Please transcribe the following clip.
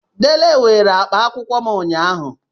Dele weere akpa akwụkwọ m ụnyahụ.